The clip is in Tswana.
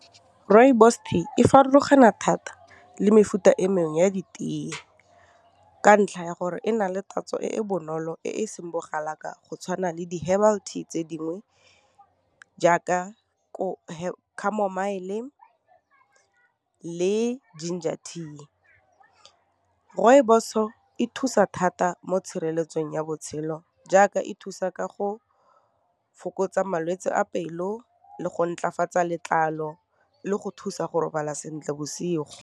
Rooibos tea e farologana thata le mefuta e mengwe ya ditee ka ntlha ya gore e na le tatso e e bonolo e seng bogalaka jaaka go tshwana le di-herbal tea tse dingwe jaaka camomile le ginger tea, rooibos e thusa thata mo tshireletsong ya botshelo jaaka e thusa ka go fokotsa malwetse a pelo le go ntlafatsa letlalo le go thusa go robala sentle bosigo.